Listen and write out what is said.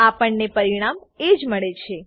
આપણને પરિણામ એજ મળે છે